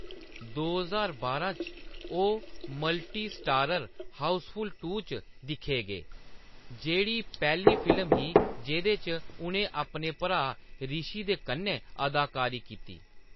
दो ज्हार बारां च, ओह्‌‌ मल्टी-स्टारर हाउसफुल टू च दिक्खे गे, जेह्‌‌ड़ी पैह्‌ली फिल्म ही जेह्‌‌‌दे च उʼनें अपने भ्राऽ रिशी दे कन्नै अदाकारी कीती।